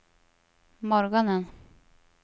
morgonen